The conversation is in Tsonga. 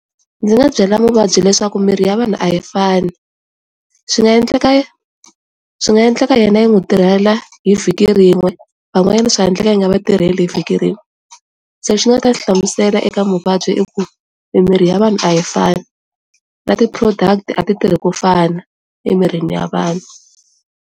Ndzi nga byela muvabyi leswaku miri ya vanhu a yi fani swi nga endleka swi nga endleka yena yi n'wi tirhela hi vhiki rin'we van'wanyana swi nga endleka yi nga vatirhela vhiki rin'we le xi ndzi nga ta xi hlamusela eka muvabyi i ku mimiri ya vanhu a yi fani na ti product a ti tirhi ku fana emirini ya vanhu.